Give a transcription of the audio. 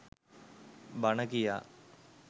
බණ කියා